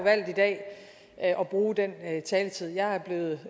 valgt i dag at bruge den taletid jeg er blevet